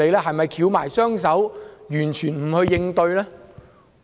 是否翹起雙手，完全不去應對呢？